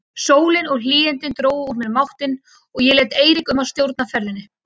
Sólin og hlýindin drógu úr mér máttinn og ég lét Eirík um að stjórna ferðinni.